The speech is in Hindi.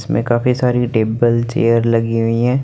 इसमें काफी सारी टेब्बल चेयर लगे हुईं हैं।